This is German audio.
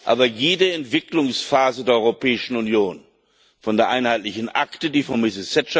Aber jede Entwicklungsphase der Europäischen Union von der Einheitlichen Akte, die von Mrs.